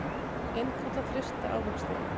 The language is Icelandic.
Innkalla frysta ávexti